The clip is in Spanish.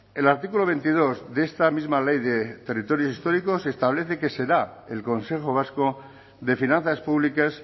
el artículo veintidós de esta misma ley de territorios históricos establece que será el consejo vasco de finanzas públicas